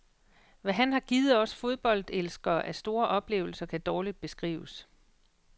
Hvad han har givet os fodboldelskere af store oplevelser, kan dårligt beskrives.